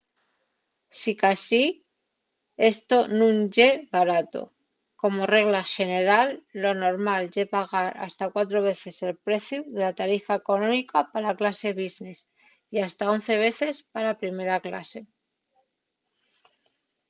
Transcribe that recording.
sicasí esto nun ye barato. como regla xeneral lo normal ye pagar hasta cuatro veces el preciu de la tarifa económica pa la clase business ¡y hasta 11 veces pa la primera clase!